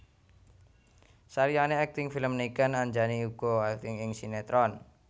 Saliyané akting film Niken Anjani uga akting ing sinetron